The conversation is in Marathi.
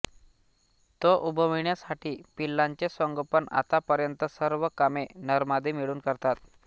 ते उबविण्या साठी पिल्लांचे संगोपन आतापर्यंत सर्व कामे नरमादी मिळून करतात